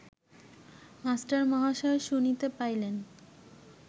মাস্টারমহাশয় শুনিতে পাইলেন